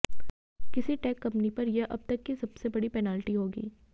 किसी tech company पर यह अब तक की सबसे बड़ी पेनल्टी होगी